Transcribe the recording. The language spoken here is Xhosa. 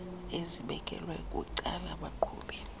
ezibekelwe bucala abaqhubi